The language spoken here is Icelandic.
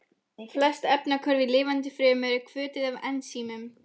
Flest efnahvörf í lifandi frumu eru hvötuð af ensímum.